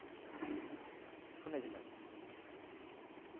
শুনেছিলাম